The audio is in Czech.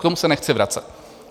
K tomu se nechci vracet.